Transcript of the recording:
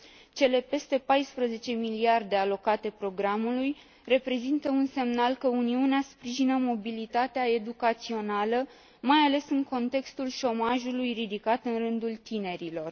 Cele peste 14 miliarde EUR alocate programului reprezintă un semnal că Uniunea sprijină mobilitatea educațională, mai ales în contextul șomajului ridicat în rândul tinerilor.